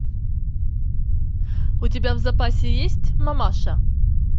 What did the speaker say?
у тебя в запасе есть мамаша